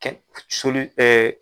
Kɛ soli ɛɛ